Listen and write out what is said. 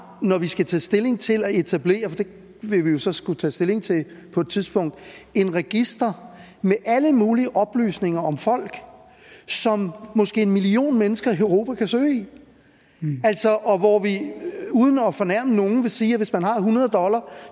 når vi skal tage stilling til at etablere for det vil vi jo så skulle tage stilling til på et tidspunkt et register med alle mulige oplysninger om folk som måske en million mennesker i europa kan søge i og hvor vi uden at fornærme nogen vil sige at hvis man har hundrede dollar